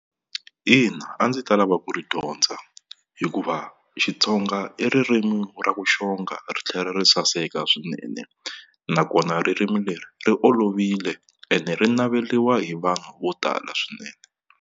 Ina a ndzi ta lava ku ri dyondza hikuva Xitsonga i ririmi ra ku xonga ri tlhela ri saseka swinene, nakona ririmi leri ri olovile ene ri naveriwa hi vanhu vo tala swinene.